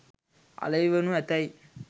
අලෙවි වනු ඇතැයි